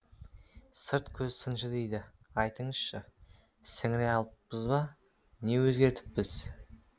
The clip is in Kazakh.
сырт көз сыншы дейді айтыңыз шы сіңіре алыппыз ба не өзгертіппіз